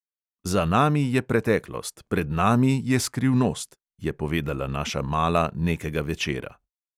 "Za nami je preteklost, pred nami je skrivnost," je povedala naša mala nekega večera.